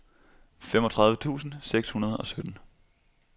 femogtredive tusind seks hundrede og sytten